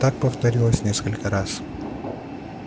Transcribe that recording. так повторилось несколько раз